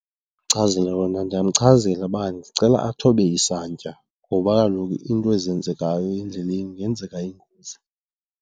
Ndingamchazela , ndingamchazela uba ndicela athobe isantya ngoba kaloku into ezenzekayo endleleni kungenzeka ingozi.